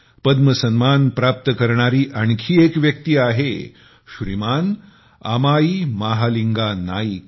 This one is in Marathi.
पद्म सन्मान प्राप्त करणारी आणखी एक व्यक्ती आहे श्रीमान अमाई महालिंगा नाईक